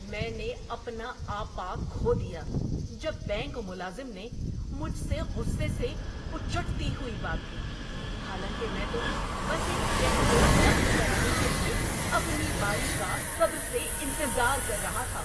میں نے اپنا آپا کھو دیا جب بینک ملازم نے مجھ سے غصے سے اچٹتی ہوئی بات کی، حالاں کہ میں تو بس ایک چیک کو نقد کرانے کے لیے اپنی باری کا صبر سے انتظار کر رہا تھا۔